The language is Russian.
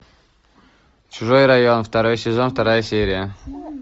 чужой район второй сезон вторая серия